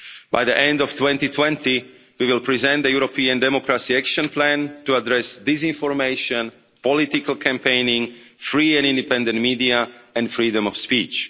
By the end of 2020, we will present the European democracy action plan to address disinformation, political campaigning, free and independent media, and freedom of speech.